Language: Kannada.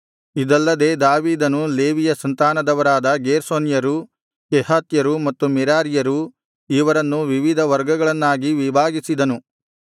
ಇದಲ್ಲದೆ ದಾವೀದನು ಲೇವಿಯ ಸಂತಾನದವರಾದ ಗೇರ್ಷೋನ್ಯರು ಕೆಹಾತ್ಯರು ಮತ್ತು ಮೆರಾರೀಯರು ಇವರನ್ನು ವಿವಿಧ ವರ್ಗಗಳನ್ನಾಗಿ ವಿಭಾಗಿಸಿದನು